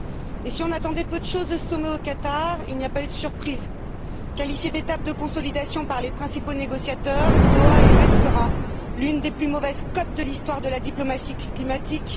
Et si on attendait peu de choses de ce sommet au Qatar, il n'y a pas eu de surprise. Qualifié d'étape de consolidation par les principaux négociateurs, Doha est, et restera, l'une des plus mauvaises cotes de l'histoire de la diplomatie climatique